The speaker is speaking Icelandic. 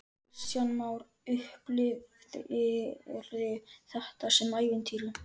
Kristján Már: Upplifirðu þetta sem ævintýri?